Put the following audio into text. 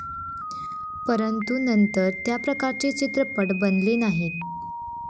परंतु नंतर त्याप्रकारचे चित्रपट बनले नाहीत.